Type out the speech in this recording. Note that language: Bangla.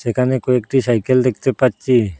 এখানে কয়েকটি সাইকেল দেখতে পাচ্চি ।